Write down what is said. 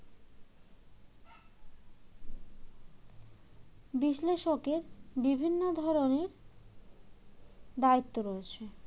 বিশ্লেষকের বিভিন্ন ধরনের দায়িত্ব রয়েছে